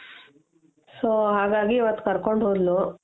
so ಹಾಗಾಗಿ ಅವತ್ ಕರ್ಕೊಂಡು ಹೋದ್ಲು